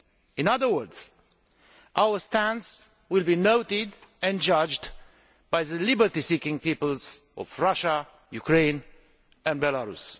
In other words, our stance will be noted and judged by the freedom seeking peoples of Russia, Ukraine and Belarus.